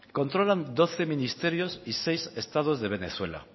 controlan doce ministerios y seis estados de venezuela